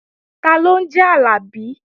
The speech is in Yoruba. Taló ń jẹ́ Àlàbí?